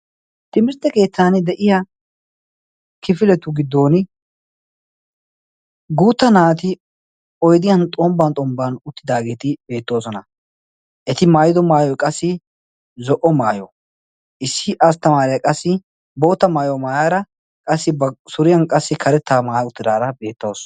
Timirtte keettan de'iya kifiletu giddon guutta naati oidiyan xombban xombban uttidaageeti beettoosona eti maayido maayoy qassi zo'o maayo issi asttamaariya qassi boota maayo maayaara qassi ba suriyan qassi karettaa maaya uttidaara beettoosu.